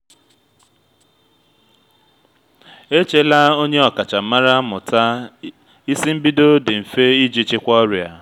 echela onye ọkachamara mụta isi mbido dị mfe iji chịkwaa ọrịa